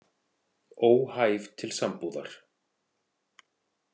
Óhæf til sambúðar.